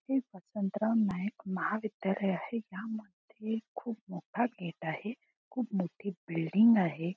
हे वसंतराव नाईक महाविद्यालय आहे. यामध्ये खूप मोठा गेट आहे. खूप मोठी बिल्डिंग आहे.